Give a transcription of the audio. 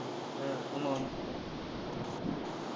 ஹம் ஆமாம்